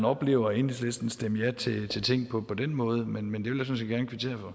oplever enhedslisten stemme ja til ting på på den måde men det vil jeg